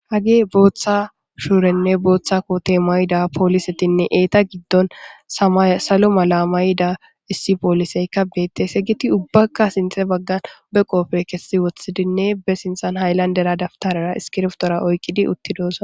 Hagey botha sure botha kote mayidi polisetinne eta gidon samaye salo mala mayida issi poliseykka betese hegeti ubakka sintha bagan be qofe kesi wothidinne be sinthan haylandera iskibirtora oykki utida